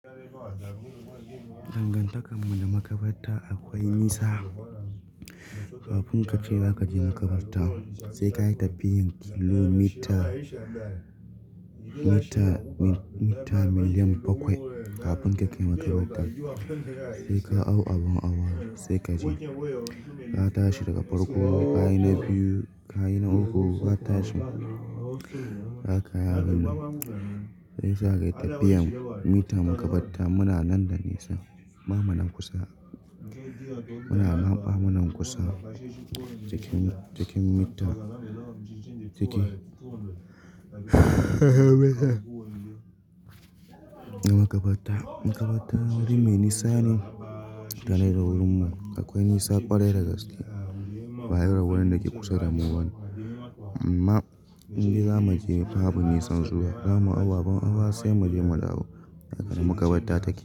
Dangantakar mu da makabarta akwai nisa. Kafin ka ce za ka je makabarta, sai ka yi tafiyan kilomita, mita, mita miliyan bakwai. Kafin ka kai makabarta, sai ka hau abin hawa sai kaje. Ka tashi daga farko, ka yi na biyu, ka yi na uku, ka tashi, haka ya ganni. Shiyasa ka yi tafiyan mita makabarta muna nan da nisa. Bamu na kusa, muna mamɓa muna kusa cikin, cikin mita. Ciki makabarta, makabarta wuri mai nisa ne da na gurin mu. Akwai nisa kwarai da gaske baya ga wurin da ke kusa da mu bane. Amma indai zamu je babu nisan zuwa, zamu hau abin awa sai mu je mu dawo a nan makabarta take.